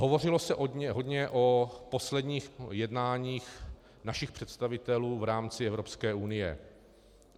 Hovořilo se hodně o posledních jednáních našich představitelů v rámci Evropské unie.